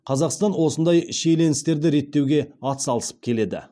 қазақстан осындай шиеленістерді реттеуге атсалысып келеді